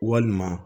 Walima